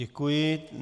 Děkuji.